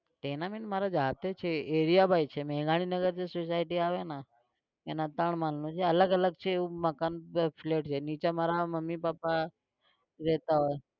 tenament મારો જાતે છે area ભાઈ છે. મેઘાણીનગર જે society આવે ના એમાં ત્રણ માળનું છે. અલગ અલગ છે એવું મકાન, flat છે નીચે મમ્મી પાપા રહેતા હોય